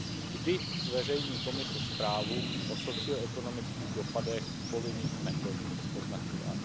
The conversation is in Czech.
Kdy zveřejní Komise zprávu o socioekonomických dopadech povinných metod označování?